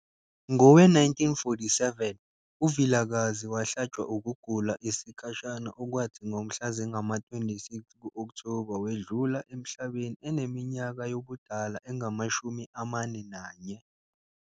Ngowe-1947 uVilakazi wahlatshwa ukugula isikhashana okwathi ngomhla zingama-26 ku-Okthoba wedlula emhlabeni eneminyaka yobudala engama-41.